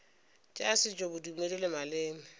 tša setšo bodumedi le maleme